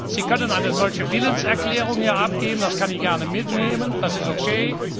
Sie können eine solche Willenserklärung hier abgeben, das kann ich gerne mitnehmen, und das ist okay.